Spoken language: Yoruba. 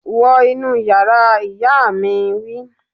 Wọ inú yàrá, ìyá mi wí